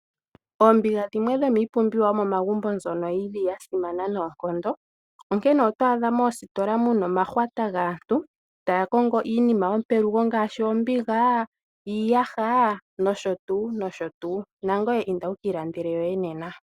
Oombiga dhimwe dhomiipumbiwa yomomangumbo mbyono yili ya simana noonkondo, onkene oto adha moositola muna omahwata gaantu taya kongo iinima yopelugo ngaashi oombiga, iiyaha noshotuu, nangweye inda wukiilandele yoye nena.